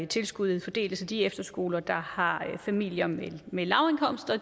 tilskuddet fordeles så de efterskoler der har familier med lavindkomster